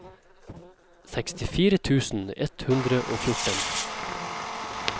sekstifire tusen ett hundre og fjorten